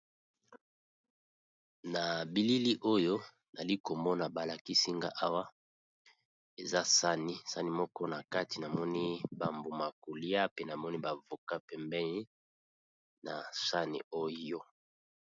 Na bilili oyo nali komona balakisinga awa eza sani, sani moko na kati namoni bambuma ya kolia pe namoni bavoka pembei na sani oyo.